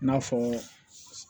I n'a fɔ